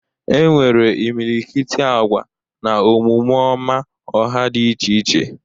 E nwere imilikiti agwa na omume ọma ọha dị iche iche.